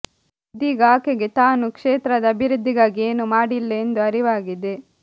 ಇದೀಗ ಆಕೆಗೆ ತಾನು ಕ್ಷೇತ್ರದ ಅಭಿವೃದ್ಧಿಗಾಗಿ ಏನೂ ಮಾಡಿಲ್ಲ ಎಂದು ಅರಿವಾಗಿದೆ